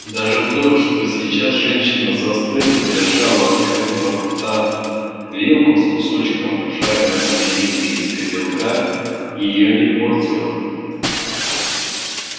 даже то что сейчас женщина застыла держа у открытого рта вилку с кусочком жареной свинины из котелка её не портило